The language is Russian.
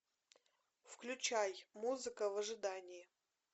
включай музыка в ожидании